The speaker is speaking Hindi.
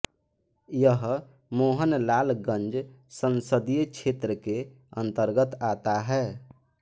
यह मोहनलालगंज संसदीय क्षेत्र के अंतर्गत आता है